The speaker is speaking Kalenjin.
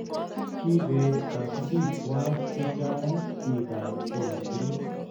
kiibet kasubikwak che chang' biikab bolatet